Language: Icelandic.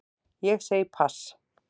Ég segi pass.